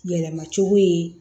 Yɛlɛma cogo ye